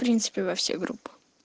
в принципе во все группы